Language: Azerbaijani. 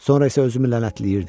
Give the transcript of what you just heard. Sonra isə özümü lənətləyirdim.